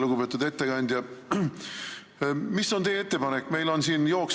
Lugupeetud ettekandja, mis on teie ettepanek?